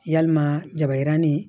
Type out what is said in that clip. Yalima jabaranin